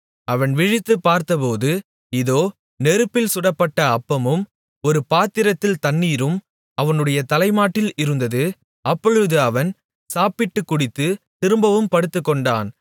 அவன் விழித்துப் பார்த்தபோது இதோ நெருப்பில் சுடப்பட்ட அப்பமும் ஒரு பாத்திரத்தில் தண்ணீரும் அவனுடைய தலைமாட்டில் இருந்தது அப்பொழுது அவன் சாப்பிட்டுக் குடித்துத் திரும்பவும் படுத்துக்கொண்டான்